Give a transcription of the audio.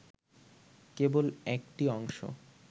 কেবল একটি অংশ